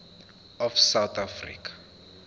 of south african